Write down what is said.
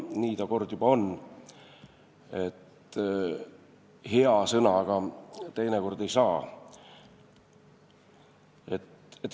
Nii ta kord juba on, et hea sõnaga teinekord ei saa.